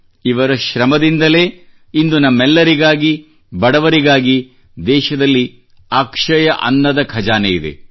ಇವರ ಶ್ರಮದಿಂದಲೇ ಇಂದು ನಮ್ಮೆಲ್ಲರಿಗಾಗಿ ಬಡವರಿಗಾಗಿ ದೇಶದಲ್ಲಿ ಅಕ್ಷಯ ಅನ್ನದಖಜಾನೆಯಿದೆ